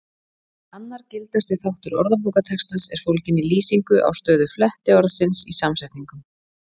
Annar gildasti þáttur orðabókartextans er fólginn í lýsingu á stöðu flettiorðsins í samsetningum.